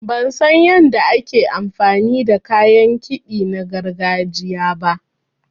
Ban san yanda ake amfani da kayan kiɗa na gargajiya ba.